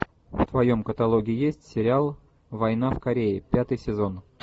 в твоем каталоге есть сериал война в корее пятый сезон